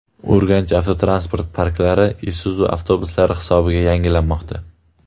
Urganch avtotransport parklari Isuzu avtobuslari hisobiga yangilanmoqda.